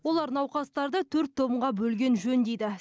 олар науқастарды төрт томға бөлген жөн дейді